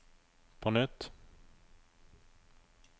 på nytt